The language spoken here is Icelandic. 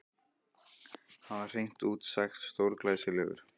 Hann var hreint út sagt stórglæsilegur.